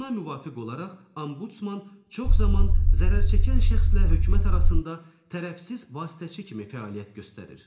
Buna müvafiq olaraq, ombudsman çox zaman zərər çəkən şəxslə hökumət arasında tərəfsiz vasitəçi kimi fəaliyyət göstərir.